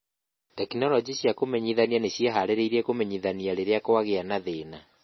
·Tekinoronjĩ cia kũmenyithania nĩ ciĩhaarĩirie kũmenyithania rĩrĩa kwagĩa na thĩna